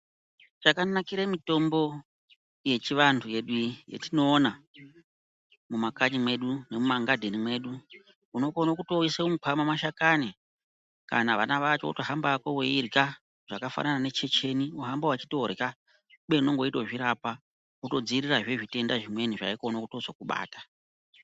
Chakanakire mitombo yedu yechivantu inei yatinoona mumakanyi mwedu memumagadheni mwedu unotokone kuisa mumukwama mashakani kana vana vacho wotohamba hako weihya zvakafanana nenjenjeni wotohamba weitohya kubeni unenge weitozvirapa kutozvivirirazve zvitenda zvimweni zvaikone kuzotokubata.